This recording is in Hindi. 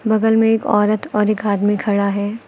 बगल में एक औरत और एक आदमी खड़ा है।